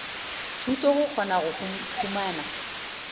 thuto go kgona go humana